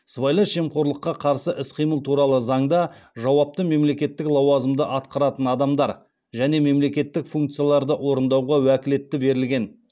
сыбайлас жемқорлыққа қарсы іс қимыл туралы заңда жауапты мемлекеттік лауазымды атқаратын адамдар және мемлекеттік функцияларды орындауға уәкілетті берілген